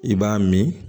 I b'a min